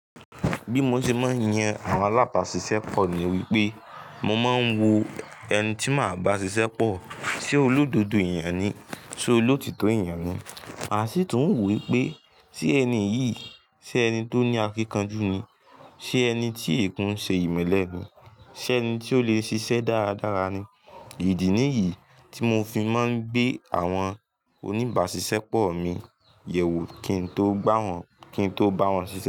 Bí mo ṣe máa ń yan àwọn alábàásisẹ́pọ̀ ni wípé, mo máa ń wo ẹni tí màá ba ṣiṣẹ́pọ̀ se olódodo ẹ̀yàn ni, se olótítọ́ ẹ̀yàn ni, màá sì tún wò wípé Ti ẹni yìí ṣe ẹni tó ní akíkanjú ni, ṣe ẹni tí o kun ṣe ìmẹ́lẹ́ ni, ṣe ẹni tí ó le ṣiṣẹ́ dáradára ni. Ìdí nìyí tí mo fi máa ń gbé àwọn oníbàásisẹ́pọ̀ mi yẹ̀ wò kí n tó gbá wọn ki n to bawon ṣiṣẹ́.